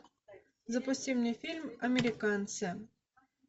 запусти мне фильм американцы